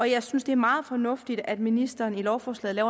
jeg synes det er meget fornuftigt at ministeren i lovforslaget